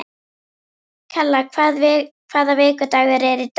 Kalla, hvaða vikudagur er í dag?